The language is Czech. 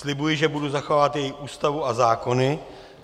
Slibuji, že budu zachovávat její Ústavu a zákony.